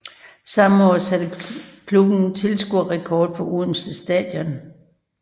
Samme år satte klubben tilskuerrekord på Odense Stadion